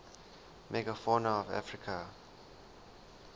megafauna of africa